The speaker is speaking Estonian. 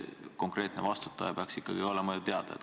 Konkreetne vastutaja peaks olema ju teada.